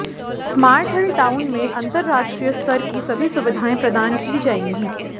smart hill town में अन्तरराष्ट्रीय स्तर की सभी सुविधाएं प्रदान की जाएंगी